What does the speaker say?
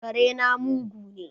Kare na mugu ne